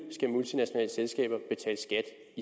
skal